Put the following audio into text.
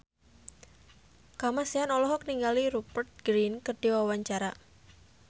Kamasean olohok ningali Rupert Grin keur diwawancara